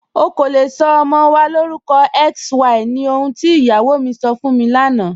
Ọ̀ kò lè sọ ọmọ wa lórúkọ XY ní ọ̀hùn tí iyáwó mi sọ́ fún mi lánà.